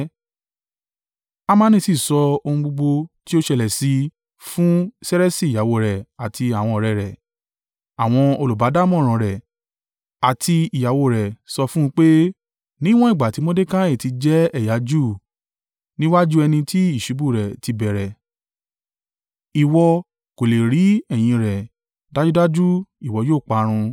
Hamani sì sọ ohun gbogbo tí ó ṣẹlẹ̀ sí i fún Sereṣi ìyàwó rẹ̀ àti àwọn ọ̀rẹ́ rẹ̀. Àwọn olùbádámọ̀ràn rẹ̀ àti ìyàwó o rẹ̀ sọ fún un pé, “Níwọ́n ìgbà tí Mordekai ti jẹ́ ẹ̀yà Júù, níwájú ẹni tí ìṣubú rẹ̀ ti bẹ̀rẹ̀, ìwọ kò lè rí ẹ̀yìn in rẹ̀—dájúdájú ìwọ yóò parun!”